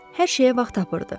Hər şeyə vaxt tapırdı.